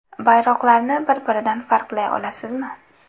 Bayroqlarni bir-biridan farqlay olasizmi?